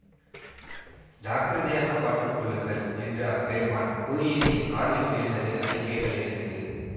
ஜாக்கிரதையாகப் பார்த்து கொள்ளுங்கள் என்று அப்பெருமான் கூறியது என் காதிலும் விழுந்தது அதை கேட்டலிருந்து